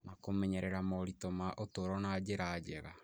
na kũmenyerera moritũ ma ũtũũro na njĩra njega.